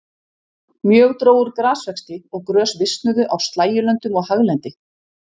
Mjög dró úr grasvexti og grös visnuðu á slægjulöndum og haglendi.